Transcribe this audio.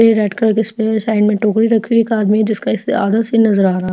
Red colour का side में एक टोकरी रखी है एक आदमी जिसका इसके आदत से नजर आ रहा है।